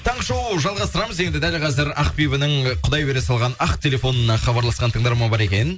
таңғы шоу жалғастырамыз енді дәл қазір ақбибінің құдай бере салған ақ телефонына хабарласқан тыңдарман бар екен